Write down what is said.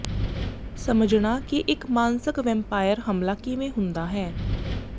ਸਮਝਣਾ ਕਿ ਇਕ ਮਾਨਸਕ ਵੈੰਪਾਇਰ ਹਮਲਾ ਕਿਵੇਂ ਹੁੰਦਾ ਹੈ